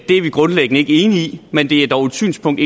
det er vi grundlæggende ikke enige i men det er dog et synspunkt